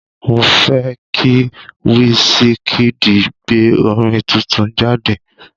Mo fẹ́ kí Wísíkíìdì gbé orin tuntun jáde.